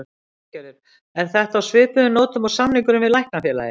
Lillý Valgerður: Er þetta á svipuðum nótum og samningurinn við Læknafélagið?